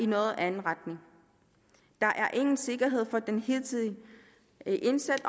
noget anden retning der er ingen sikkerhed for den hidtidige indsats